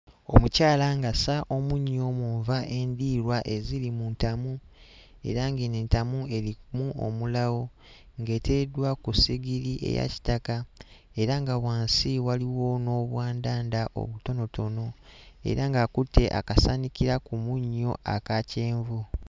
Omukyala ng'assa omunnyo mu nva endiirwa eziri mu ntamu era ng'eno entamu erimu omulawo ng'eteereddwa ku ssigiri eya kitaka era nga wansi waliwo n'obwandanda obutonotono era ng'akutte akasaanikira ku munnyo aka kyenvu.